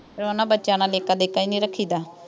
ਉਹਨਾ ਬੱਚਿਆਂ ਦਾ ਦੇਖਾ ਦੇਖਾ ਹੀ ਨਹੀਂ ਰੱਖੀ ਦਾ।